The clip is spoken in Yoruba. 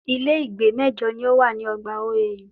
Ilé ìgbé mẹ́jọ ni o wà ní ogbà OAU